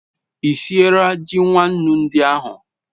I siera ji nwannu ndi ahu